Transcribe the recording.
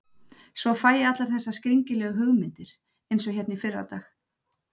Svo fæ ég allar þessar skringilegu hugmyndir, einsog hérna í fyrradag.